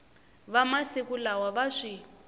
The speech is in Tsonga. va masiku lawa va swi